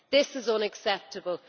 This is unacceptable.